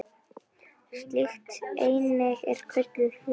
Slík eining er kölluð hlutur.